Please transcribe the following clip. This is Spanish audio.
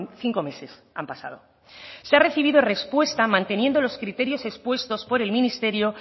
cinco meses han pasado se ha recibido respuesta manteniendo los criterios expuestos por el ministerio